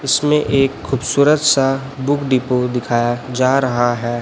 इसमें एक खूबसूरत सा बुक डिपो दिखाया जा रहा हैं।